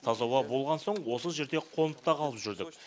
таза ауа болған соң осы жерде қонып та қалып жүрдік